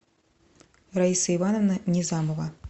раиса ивановна незамова